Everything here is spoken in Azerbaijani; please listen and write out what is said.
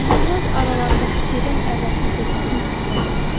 Uzundraz aralarındakı gedən əvvəlki söhbətin üstünə qayıtdı.